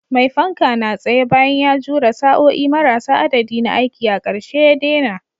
Mai fanka na tsaye, bayan ya jure sa'o'i marasa adadi na aiki, a ƙarshe ya daina.